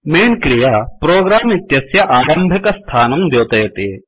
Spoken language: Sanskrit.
मैन् क्रिया प्रोग्राम इत्यस्य आरम्भिकस्थानं द्योतयति